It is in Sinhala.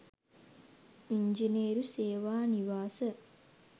ඉංජිනේරු සේවා නිවාස